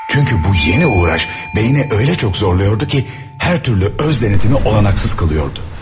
Çünki bu yeni uğraş beyni elə çox zorluyordu ki, hər türlü öz denetimi olanaksız qılıyordu.